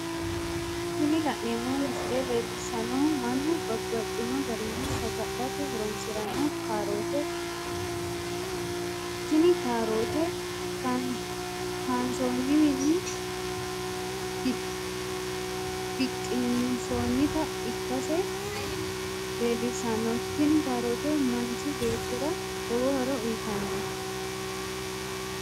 Tini la'neemo misile leellishanohu mannu babaxxino garinni saga'late horonsiranno kaarotete, tini kaarotte kaa'nsoniwiinni biqqi'nsonnitta ikkase leellishano tini kaarote manchi beettira lowo horo uyitano